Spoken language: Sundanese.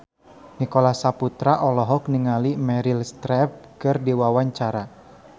Nicholas Saputra olohok ningali Meryl Streep keur diwawancara